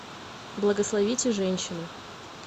благословите женщину